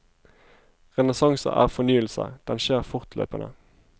Renessanse er fornyelse, den skjer fortløpende.